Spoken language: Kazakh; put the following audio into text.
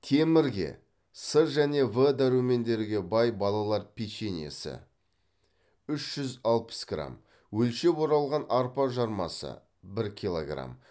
темірге с және в дәрумендерге бай балалар печеньесі үш жүз алпыс грамм өлшеп оралған арпа жармасы бір килограмм